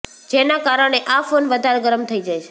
જેનાં કારણે આ ફોન વધારે ગરમ થઇ જાય છે